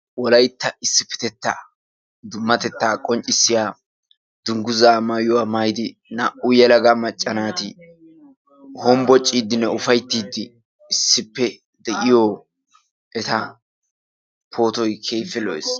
wolaytta issipetetta ha asati cadiidi de'iyo koyro tokketidaagee de'iyo koyro gidikokka de'iyage poottoy keehippe lo'ees.